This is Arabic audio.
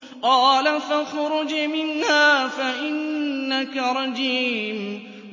قَالَ فَاخْرُجْ مِنْهَا فَإِنَّكَ رَجِيمٌ